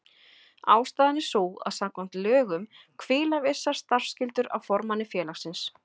Ástæðan er sú að samkvæmt lögum hvíla vissar starfsskyldur á formanni félagsins.